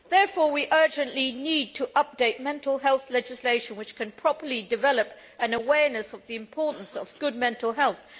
Therefore, we urgently need to update mental health legislation that can properly develop an awareness of the importance of good mental health.